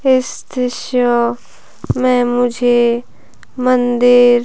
इस दृश्य में मुझे मंदिर --